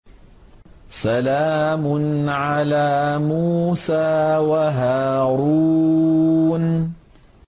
سَلَامٌ عَلَىٰ مُوسَىٰ وَهَارُونَ